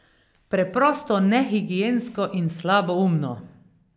Preprosto nehigiensko in slaboumno.